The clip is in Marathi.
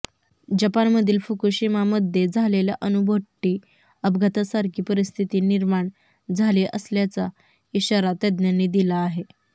जपानमधील फुकूशिमामध्ये झालेल्या अणुभट्टी अपघातासारखी परिस्थिती निर्माण झाली असल्याचा इशारा तज्ज्ञांनी दिला आहे